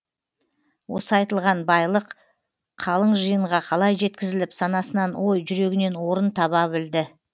осы айтылған байлық қалың жиынға қалай жеткізіліп санасынан ой жүрегінен орын таба білді